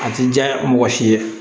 A ti diya mɔgɔ si ye